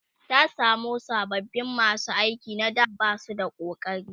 ta samu sababin masu aiki na da Basu da ƙokari